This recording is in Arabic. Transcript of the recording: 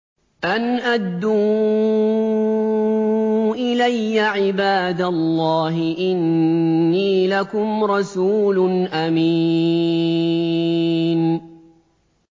أَنْ أَدُّوا إِلَيَّ عِبَادَ اللَّهِ ۖ إِنِّي لَكُمْ رَسُولٌ أَمِينٌ